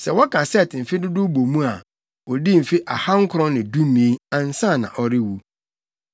Sɛ wɔka Set mfe dodow bɔ mu a, odii mfe ahankron ne dumien, ansa na ɔrewu.